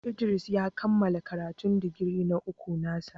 Idris ya kammala karatun digiri na uku na sa.